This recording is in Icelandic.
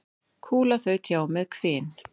Kúla þaut hjá með hvin.